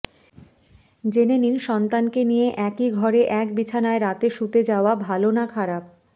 জেনে নিন সন্তানকে নিয়ে একই ঘরে এক বিছানায় রাতে শুতে যাওয়া ভালো না খারাপ